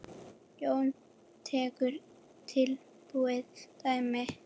Jón tekur tilbúið dæmi.